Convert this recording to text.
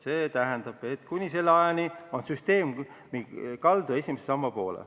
See tähendab, et kuni selle ajani on süsteem kaldu esimese samba poole.